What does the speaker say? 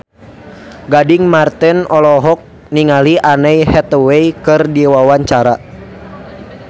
Gading Marten olohok ningali Anne Hathaway keur diwawancara